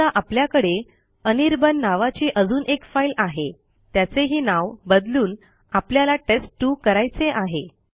समजा आपल्याकडे अनिर्बाण नावाची अजून एक फाईल आहे त्याचेही नाव बदलून आपल्याला टेस्ट2 करायचे आहे